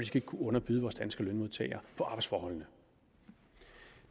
skal kunne underbyde danske lønmodtagere på arbejdsforholdene